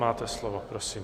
Máte slovo, prosím.